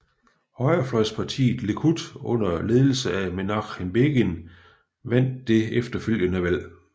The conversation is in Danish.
Højrefløjspartiet Likud under ledelse af Menachem Begin vandt det efterfølgende valg